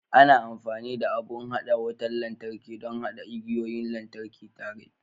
Ana amfani da abun haɗa wutar lantarki don haɗa igiyoyin lantarki tare